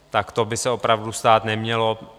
Tak to by se opravdu stát nemělo.